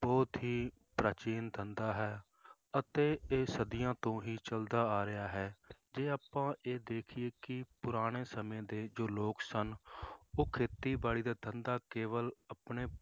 ਬਹੁਤ ਹੀ ਪ੍ਰਾਚੀਨ ਧੰਦਾ ਹੈ, ਅਤੇ ਇਹ ਸਦੀਆਂ ਤੋਂ ਹੀ ਚੱਲਦਾ ਆ ਰਿਹਾ ਹੈ ਜੇ ਆਪਾਂ ਇਹ ਦੇਖੀਏ ਕਿ ਪੁਰਾਣੇ ਸਮੇਂ ਦੇ ਜੋ ਲੋਕ ਸਨ ਉਹ ਖੇਤੀਬਾੜੀ ਦਾ ਧੰਦਾ ਕੇਵਲ ਆਪਣੇ